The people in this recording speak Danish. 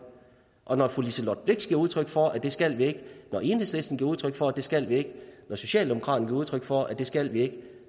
og når fru liselott blixt giver udtryk for at det skal vi ikke når enhedslisten giver udtryk for at det skal vi ikke når socialdemokraterne giver udtryk for at det skal vi ikke